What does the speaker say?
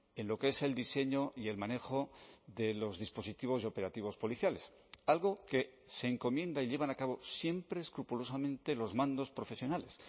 en lo que es el diseño y el manejo de los dispositivos y operativos policiales algo que se encomienda y llevan a cabo siempre escrupulosamente los mandos profesionales